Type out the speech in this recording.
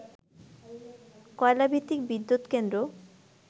কয়লাভিত্তিক বিদ্যুৎকেন্দ্র